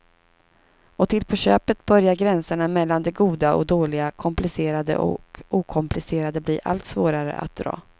Och till på köpet börjar gränserna mellan det goda och dåliga, komplicerade och okomplicerade bli allt svårare att dra.